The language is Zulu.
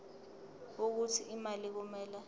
wokuthi imali kumele